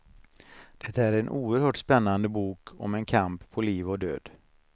Det är en oerhört spännande bok om en kamp på liv och död.